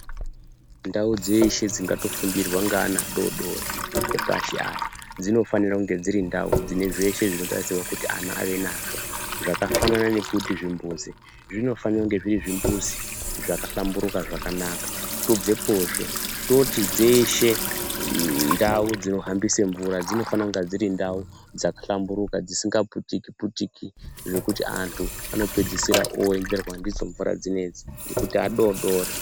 Ndau dzeshe dzingatofundirwa ngeana adoodori epashi aya dzinofanira kunhe dziri ndau dzine zveshe zvinotarisirwa kuti and ave nazvo zvakafanana nekuti zvimbuzi zvinofanira kunge zviri zvimbuzi zvakahlamburuka zvakanaka tobvepozve toti dzeshe ndau dzinohambise mvura dzinofane kunge dziri ndau dzakahlamburuka dzisingaputikiputiki zvekuti antu anopedzisira oenderwa ndidzo mvura dzinedzi ngekuti adoodori.